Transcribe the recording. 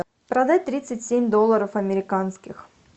продать тридцать семь долларов американских